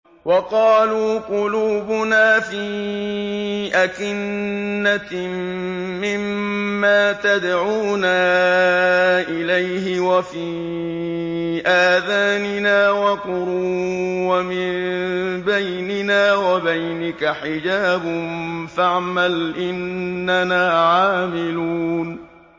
وَقَالُوا قُلُوبُنَا فِي أَكِنَّةٍ مِّمَّا تَدْعُونَا إِلَيْهِ وَفِي آذَانِنَا وَقْرٌ وَمِن بَيْنِنَا وَبَيْنِكَ حِجَابٌ فَاعْمَلْ إِنَّنَا عَامِلُونَ